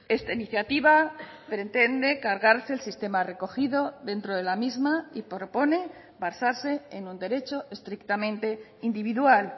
esta iniciativa pretende cargarse el sistema recogido dentro de la misma y propone basarse en un derecho estrictamente individual